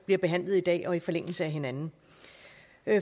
bliver behandlet i dag og i forlængelse af hinanden